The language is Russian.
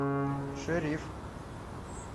шериф